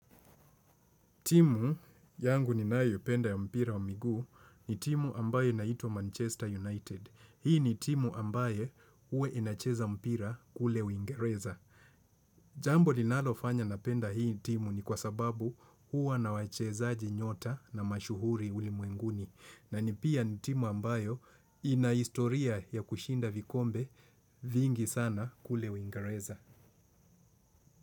Timu yangu ni nayo penda ya mpira wa migu ni timu ambayo inaitwa Manchester United. Hii ni timu ambayo ue inacheza mpira kule uingereza. Jambo linalofanya napenda hii timu ni kwa sababu huwa na wachezaji nyota na mashuhuri ulimwenguni. Na ni pia ni timu ambayo ina historia ya kushinda vikombe vingi sana kule Uingereza.